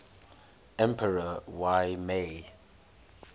emperor y mei